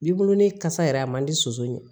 Bibulon ni kasa yɛrɛ a man di soso ɲɛ